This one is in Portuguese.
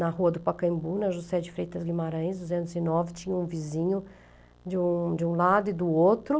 Na rua do Pacaembu, na Juscé de Freitas Guimarães, duzentos e nove, tinha um vizinho de um de um lado e do outro.